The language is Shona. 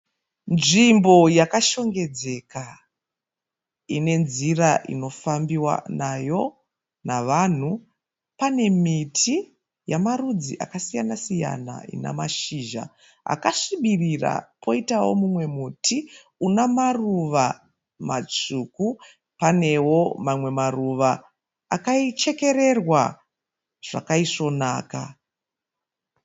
Nzvimbo yakashongedzeka ine nzvira inofambiwa nayo navanhu. Pane miti yamarudzi akasiyana siyana ina mashizha akasvibira poitawo mumwe muti una maruva matsvuku. Panewo mamwe maruva akachekererwa zvakaisvonaka.